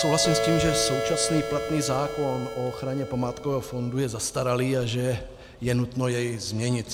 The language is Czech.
Souhlasím s tím, že současný platný zákon o ochraně památkového fondu je zastaralý a že je nutno jej změnit.